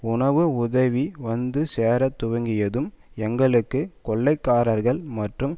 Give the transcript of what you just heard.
உணவு உதவி வந்து சேர துவங்கியதும் எங்களுக்கு கொள்ளைக்காரர்கள் மற்றும்